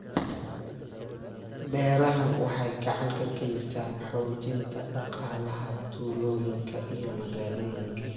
Beerahani waxay gacan ka geystaan ??xoojinta dhaqaalaha tuulooyinka iyo magaalooyinka.